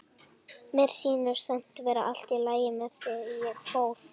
Mér sýndist samt vera allt í lagi með þig þegar ég fór.